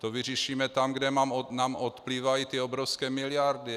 To vyřešíme tam, kde nám odplývají ty obrovské miliardy!